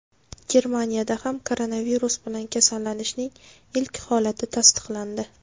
Germaniyada ham koronavirus bilan kasallanishning ilk holati tasdiqlandi .